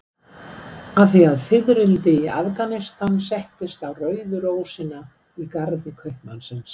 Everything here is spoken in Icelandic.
Af því að fiðrildi í Afganistan settist á rauðu rósina í garði kaupmannsins.